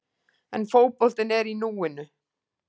En fótboltinn er í núinu.